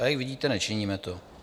A jak vidíte, nečiníme to.